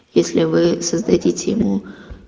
если вы создадите ему